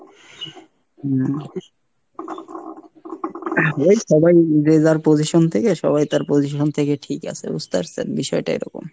হম, ওই সবাই যে যার position থেকে সবাই তার position থেকে ঠিক আছে বুজতে পারছেন, বিষয় টা এরকম।